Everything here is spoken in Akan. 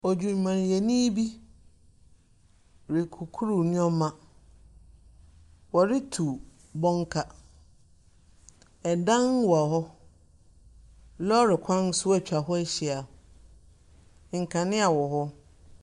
Odwumayɛni bi rekukuru nneɛma. Wɔretu bɔnka. Ɛdan wɔ hɔ. Lɔɔre kwan nso atwa hɔ ahyia. Nkanea wɔ hɔ.